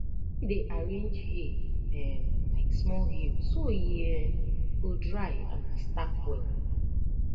he dey arrange hay um like small hill so e um go dry and stack well